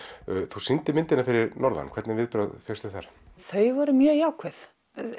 þú sýndir myndina fyrir norðan hvernig viðbrögð fékkstu þar þau voru mjög jákvæð